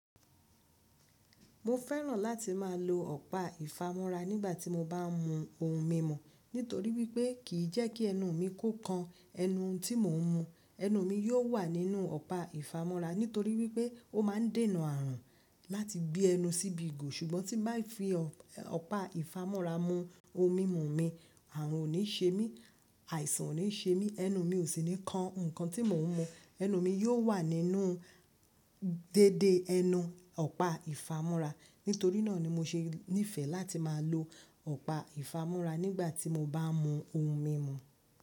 Mo fẹ́ràn láti má a lo ọ̀pá ìfamọ́ra nígbàtí mo bá n mu ohun mímu nítorí wípé kìí jẹ́ kí ẹnu mi kó kan ẹnu òun tí mo n mu. Ẹnu mi yóò wà nínú ọ̀pá ìfamọ́ra nítorí wípé ó ma n dènà àrùn láti gbé ẹnu síbi ìgò. Ṣùgbọ́n tí bá fi ọ̀pá ìfamọ́ra mu ohun mímu mi, àrùn ò ní ṣe mí, àìsàn ò ní ṣe mí, ẹnu mi ò sì ní kan ǹkan tí mo n mu. Ẹnu mi yóò wà nínú dédé ẹnu ọ̀pá ìfamọ́ra. Nítorí náà ni mo ṣe nífẹ̀ẹ́ láti má a lo ọ̀pá ìfamọ́ra nígbàtí mo bá n mu ohun mímu.